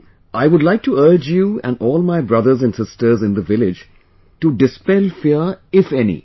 I would like to urge you and all my brothers and sisters in the village to dispel fear, if any...